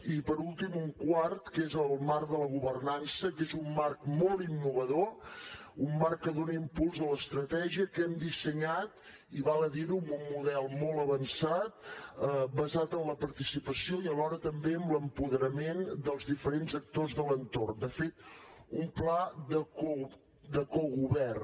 i per últim un quart que és el marc de la governança que és un marc molt innovador un marc que dona impuls a l’estratègia que hem dissenyat i val a dir ho amb un model molt avançat basat en la participació i alhora també en l’apoderament dels diferents actors de l’entorn de fet un pla de cogovern